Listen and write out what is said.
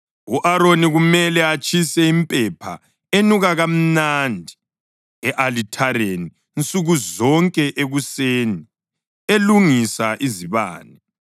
U-Aroni kumele atshise impepha enuka mnandi e-alithareni nsuku zonke ekuseni elungisa izibane.